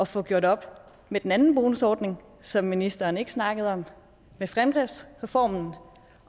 få gjort op med den anden bonusordning som ministeren ikke snakkede om med fremdriftsreformen